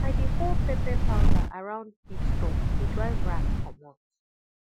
i dey pour pepper powder around feed store to drive rat commot